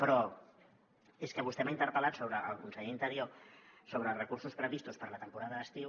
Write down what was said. però és que vostè m’ha interpel·lat al conseller d’interior sobre els recursos previstos per a la temporada d’estiu